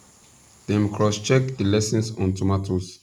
dem cross check di lessons on tomatoes